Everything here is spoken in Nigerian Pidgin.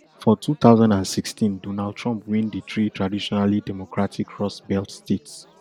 for two thousand and sixteen donald trump win di three traditionally democratic rust belt states